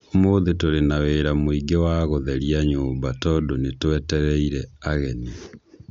Ũmũthĩ tũrĩ na wĩra mũingĩ wa gũtheria nyũmba tondũ nĩ twetereire ageni.